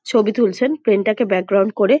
ছবি তুলছেন প্লেন -টা কে ব্যাকগ্রাউন্ড করে।